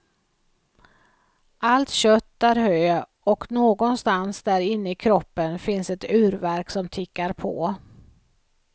Allt kött är hö och någonstans där inne i kroppen finns ett urverk som tickar på.